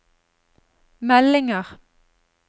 meldinger